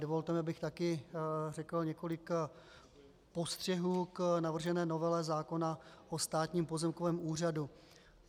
Dovolte mi, abych také řekl několik postřehů k navržené novele zákona o Státním pozemkovém úřadu.